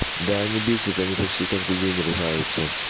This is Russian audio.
да они бесятся они почти каждый день ругаются